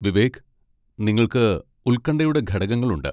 വിവേക്, നിങ്ങൾക്ക് ഉൽകൺഠയുടെ ഘടകങ്ങളുണ്ട്.